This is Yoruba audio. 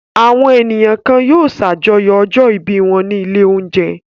Àwọn ènìyàn kan yóò ṣàjọyọ̀ ọjọ́-ìbí wọn ní ilé-oúnjẹ.